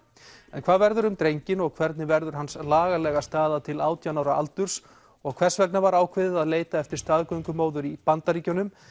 en hvað verður um drenginn og hvernig verður hans lagalega staða til átján ára aldurs og hvers vegna var ákveðið að leita eftir staðgöngumóður í Bandaríkjunum